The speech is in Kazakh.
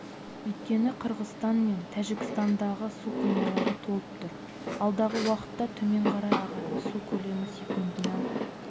өйткені қырғызстан мен тәжікстандағы су қоймалары толып тұр алдағы уақытта төмен қарай ағатын су көлемі секундына